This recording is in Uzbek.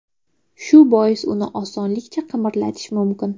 Shu bois uni osonlikcha qimirlatish mumkin.